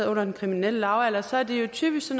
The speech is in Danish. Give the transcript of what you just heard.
under den kriminelle lavalder så er det jo typisk